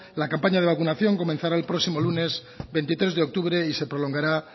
la campaña de vacunación comenzará el próximo lunes veintitrés de octubre y se prolongará